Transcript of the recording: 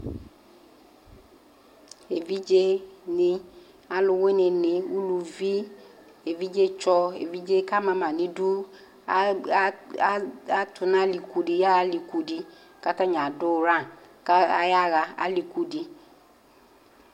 Eʋidjé ni, aluwuni, uluvi, évidjé tchɔ, évidjé ka amama nu idu atu nu aliku di yaha aliku di, katani ran kayaha alikudi